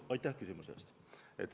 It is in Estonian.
Aitäh küsimuse eest!